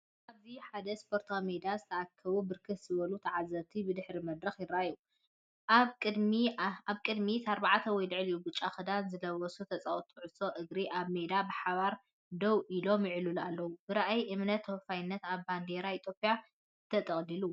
ኣብዚ ኣብ ሓደ ስፖርታዊ ሜዳ ዝተኣከቡ ብርክት ዝበሉ ተዓዘብቲ ብድሕሪ መድረኽ ይርአ። ኣብ ቅድሚት ኣርባዕተ ወይ ልዕሊኡ ብጫ ክዳን ዝለበሱ ተጻወትቲ ኩዕሶ እግሪ ኣብ ሜዳ ብሓባር ደው ኢሎም ይዕልሉ ኣለዉ። ብራእይ እምነትን ተወፋይነትን፡ ኣብ ባንዴራ ኢትዮጵያ ተጠቕሊሉ።